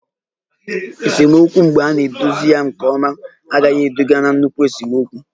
Esemokwu mgbe a na-edozi ya nke ọma agaghị eduga na nnukwu esemokwu